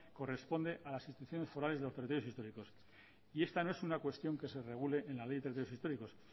corresponde a las instituciones forales y a los territorios históricos y esto no es una cuestión que se regule en la ley de territorios históricos